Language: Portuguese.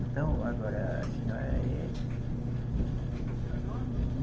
Então, agora, a senhora é. Meu nome?